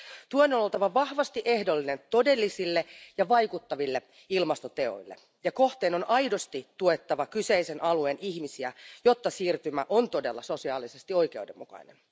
Tuen on oltava vahvasti ehdollinen todellisille ja vaikuttaville ilmastoteoille, ja kohteen on aidosti tuettava kyseisen alueen ihmisiä, jotta siirtymä on todella sosiaalisesti oikeudenmukainen.